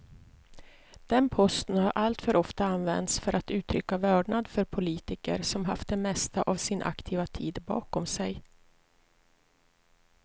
Den posten har alltför ofta använts för att uttrycka vördnad för politiker som haft det mesta av sin aktiva tid bakom sig.